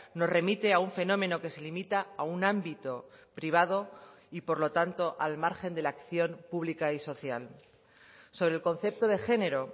nos remite a un fenómeno que se limita a un ámbito privado y por lo tanto al margen de la acción pública y social sobre el concepto de género